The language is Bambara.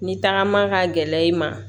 Ni tagama ka gɛlɛn i ma